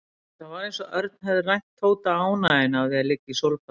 Það var eins og Örn hefði rænt Tóta ánægjunni af því að liggja í sólbaði.